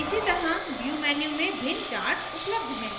इसी तरह view menu में भिन्न charts उपलब्ध हैं